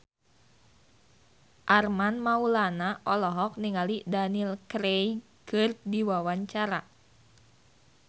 Armand Maulana olohok ningali Daniel Craig keur diwawancara